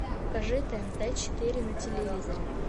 покажи тнт четыре на телевизоре